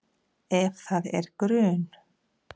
Ef það er grun